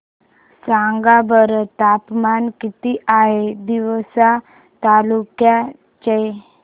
सांगा बरं तापमान किती आहे तिवसा तालुक्या चे